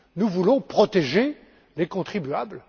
Nous voulons protéger les contribuables.